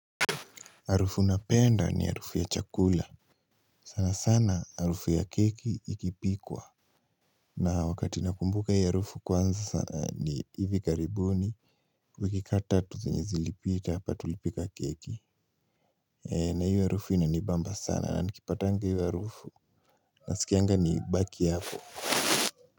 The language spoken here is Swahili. Arufu napenda ni arufu ya chakula. Sana sana harufu ya keki ikipikwa. Na wakati na kumbuka ya arufu kwanza sana ni hivi karibuni. Kukikata tuzenye zilipita hapa tulipika keki. Na iyo harufu ina ni bamba sana. Na nikipatanga iyo harufu. Nasikianga ni baki hapo.